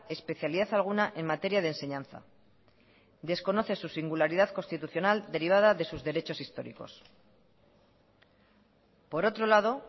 especialidad alguna en materia de enseñanza desconoce su singularidad constitucional derivada de sus derechos históricos por otro lado